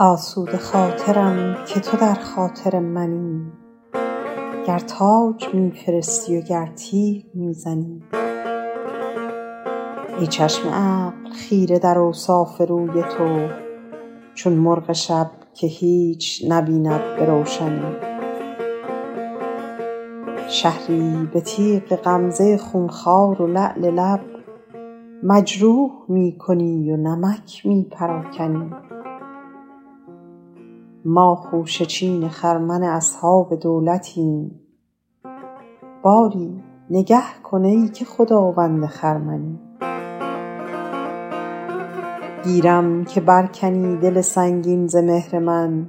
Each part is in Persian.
آسوده خاطرم که تو در خاطر منی گر تاج می فرستی و گر تیغ می زنی ای چشم عقل خیره در اوصاف روی تو چون مرغ شب که هیچ نبیند به روشنی شهری به تیغ غمزه خونخوار و لعل لب مجروح می کنی و نمک می پراکنی ما خوشه چین خرمن اصحاب دولتیم باری نگه کن ای که خداوند خرمنی گیرم که بر کنی دل سنگین ز مهر من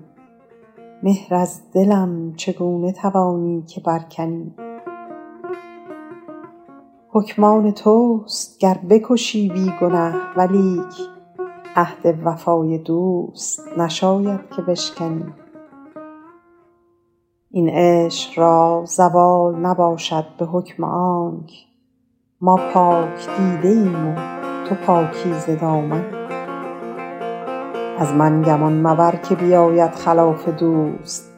مهر از دلم چگونه توانی که بر کنی حکم آن توست اگر بکشی بی گنه ولیک عهد وفای دوست نشاید که بشکنی این عشق را زوال نباشد به حکم آنک ما پاک دیده ایم و تو پاکیزه دامنی از من گمان مبر که بیاید خلاف دوست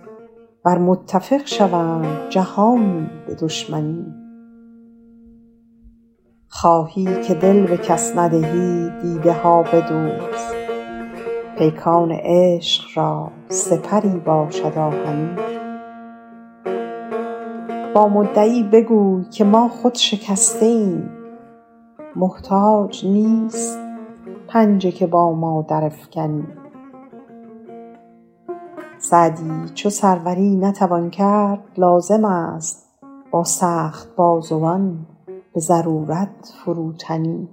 ور متفق شوند جهانی به دشمنی خواهی که دل به کس ندهی دیده ها بدوز پیکان چرخ را سپری باشد آهنی با مدعی بگوی که ما خود شکسته ایم محتاج نیست پنجه که با ما درافکنی سعدی چو سروری نتوان کرد لازم است با سخت بازوان به ضرورت فروتنی